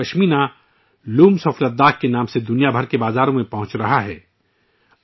Ladakhi pashmina 'Looms of Ladakh' کے نام سے دنیا بھر کے بازاروں میں پہنچ رہی ہے